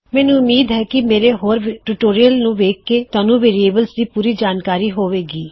ਮੈਨੂੰ ਉਮੀਦ ਹੈ ਕੀ ਮੇਰੇ ਹੋਰ ਟਿਊਟੋਰਿਯਲਜ਼ ਨੂੰ ਵੇਖ ਕੇ ਤੁਹਾਨੂੰ ਵੇਅਰਿਏਬਲਜ਼ ਦੀ ਪੂਰੀ ਜਾਨਕਾਰੀ ਹੋਵੇ ਗੀ